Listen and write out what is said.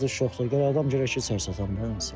Satış yoxdur, gərək adam gələr ki, içəri satasan da.